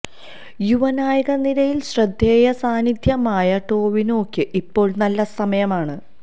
യുവനായക നിരയിൽ ശ്രദ്ധേയ സാന്നിധ്യമായ ടൊവിനോക്ക് ഇപ്പോൾ നല്ല സമയമാണ്